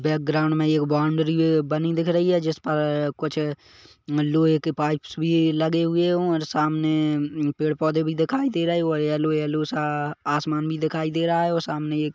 background में एक boundary बनी दिख रही है जिस पर कुछ मल्लुये के पाइप्स भी लगे हुए हों और सामने अ पेड़-पौधे भी दिखाई रहे हैं और येल्लो येल्लो सा आसमान भी दिखाई दे रहा है और सामनें एक--